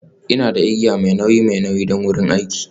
Ina da igiya mai nauyi mai nauyi don wurin aiki.